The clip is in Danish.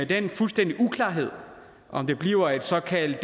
den fuldstændige uklarhed om det bliver et såkaldt